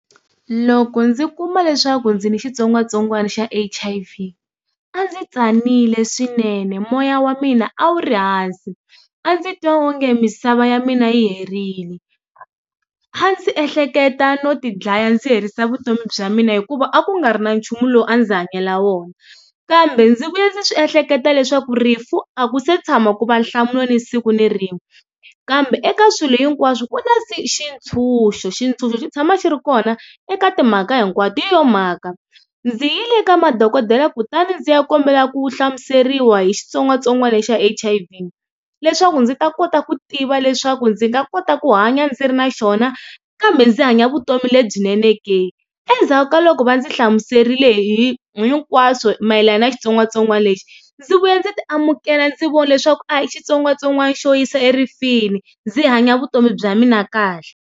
Loko ndzi kuma leswaku ndzi ni xitsongwatsongwana xa H_I_V a ndzi tsanile swinene moya wa mina a wu ri hansi a ndzi twa onge misava ya mina yi herile a ndzi ehleketa no tidlaya ndzi herisa vutomi bya mina hikuva a ku nga ri na nchumu lowu a ndzi hanyela wona, kambe ndzi vuya ndzi swi ehleketa leswaku rifu a ku se tshama ku va nhlamulo ni siku na rin'we kambe eka swilo hinkwaswo ku na xitshunxo xitshunxo xi tshama xi ri kona eka timhaka hinkwato hi yo mhaka ndzi yile eka madokodela kutani ndzi ya kombela ku hlamuseriwa hi xitsongwatsongwana xa H_I_V leswaku ndzi ta kota ku tiva leswaku ndzi nga kota ku hanya ndzi ri na xona kambe ndzi hanya vutomi lebyinene ke. Endzhaku ka loko va ndzi hlamuserile hi hinkwaswo mayelana na xitsongwatsongwana lexi ndzi vuye ndzi ti amukela ndzi vona leswaku a hi xitsongwatsongwana xo yisa erifini ndzi hanya vutomi bya mina kahle.